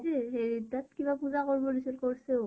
এ হেৰি তাত । কিবা পুজা কৰিব দিছিল, কৰছেও